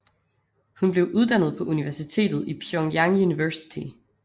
Hun blev uddannet på universitetet i Pyongyang University